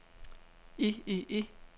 i i i